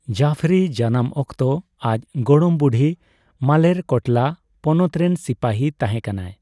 ᱡᱟᱯᱷᱚᱨᱤ ᱡᱟᱱᱟᱢ ᱚᱠᱛᱚ ᱟᱡ ᱜᱚᱲᱚᱢ ᱵᱩᱰᱦᱤ ᱢᱟᱞᱮᱨᱠᱳᱴᱞᱟ ᱯᱚᱱᱚᱛ ᱨᱮᱱ ᱥᱤᱯᱟᱹᱦᱤ ᱛᱟᱦᱮᱸ ᱠᱟᱱᱟᱭ ᱾